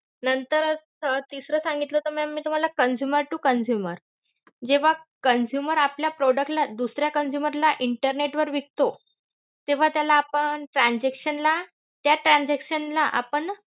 नंतर अं तिसरं सांगतीलं होतं ma'am मी तुम्हाला consumer to consumer. जेव्हा consumer आपल्या product ला दुसऱ्या consumer ला internet वर विकतो तेव्हा त्याला आपण transaction ला, त्या transaction ला आपण